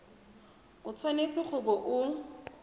o tshwanetse go bo o